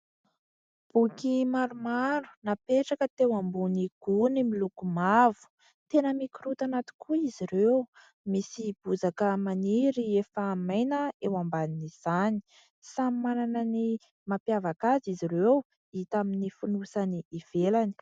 Boky maromaro napetraka teo ambony gony miloko mavo ; tena mikorontana tokoa izy ireo misy bozaka maniry efa maina eo amban'izany. Samy manana ny mampiavaka azy izy ireo hita amin'ny fonosany ivelany.